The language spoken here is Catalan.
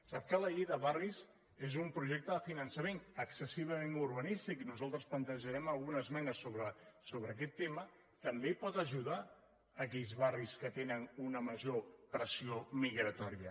sap que la llei de barris és un projecte de finançament excessivament urbanístic nosaltres plantejarem alguna esmena sobre aquest tema també pot ajudar aquells barris que tenen una major pressió migratòria